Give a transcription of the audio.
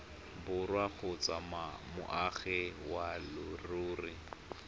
borwa kgotsa moagi wa leruri